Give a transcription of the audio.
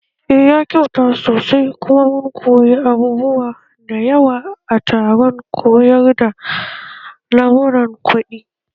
Eh ya kyauta sosai kuma mun koyi abubuwa da yawa a taron koyar da lamuran kuɗin